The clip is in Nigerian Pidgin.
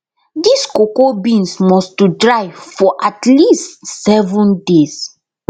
dis cocoa beans must to dry for at least seven days